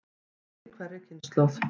Fjöldi í hverri kynslóð.